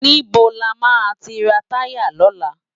Nibó lámá ti rá tàyá lòlá?